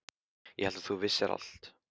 Ég hélt að þú vissir allt.